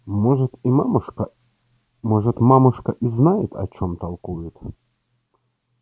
может и мамушка может мамушка и знает о чём толкует